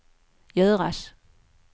göras